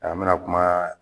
A n bɛna kuma